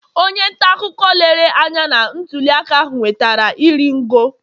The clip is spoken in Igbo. onye ntaakụkọ lere anya na ntuliaka ahụ nwetara iri ngo